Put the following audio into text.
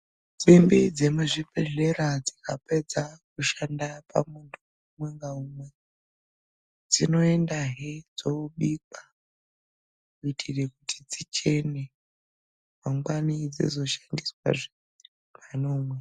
Simbi dzemuchibhedhlera dzikapedza kushanda pamuntu umwe ngaumwe, dzinoendahe dzobikwa kuitire kuti dzichene mangwani dzizoshandiswahe panoumwe.